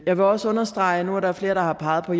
jeg vil også understrege og nu er der flere der har peget på